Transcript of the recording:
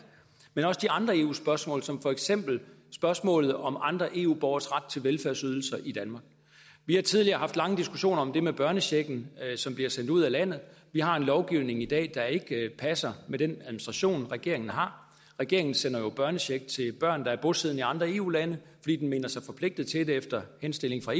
men også de andre eu spørgsmål som for eksempel spørgsmålet om andre eu borgeres ret til velfærdsydelser i danmark vi har tidligere haft lange diskussioner om det med børnechecken som bliver sendt ud af landet vi har en lovgivning i dag der ikke passer med den administration regeringen har regeringen sender jo børnecheck til børn der er bosiddende i andre eu lande fordi den mener sig forpligtet til det efter henstilling fra